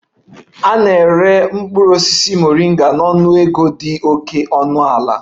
A na-ere mkpụrụ osisi Moringa na ọnụego dị oke ọnụ ala